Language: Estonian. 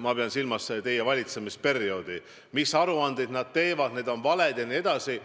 ma pean silmas teie valitsemisperioodi –, mis aruandeid nad teevad, need on valed jne.